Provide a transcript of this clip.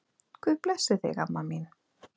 Guð blessi þig, amma mín.